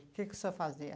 O que que o senhor fazia?